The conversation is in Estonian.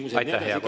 Aitäh, hea kolleeg!